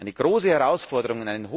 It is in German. Eine große Herausforderung!